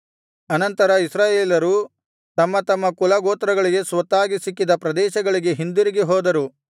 ಅನಂತರ ಇಸ್ರಾಯೇಲರು ತಮ್ಮ ತಮ್ಮ ಕುಲಗೋತ್ರಗಳಿಗೆ ಸ್ವತ್ತಾಗಿ ಸಿಕ್ಕಿದ ಪ್ರದೇಶಗಳಿಗೆ ಹಿಂದಿರುಗಿ ಹೋದರು